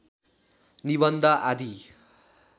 निबन्ध आदि